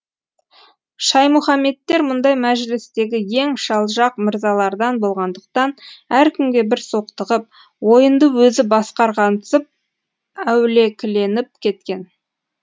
шаймұхаметтер мұндай мәжілістегі ең шалжақ мырзалардан болғандықтан әркімге бір соқтығып ойынды өзі басқарғансып әулекіленіп кеткен